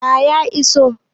A ya iso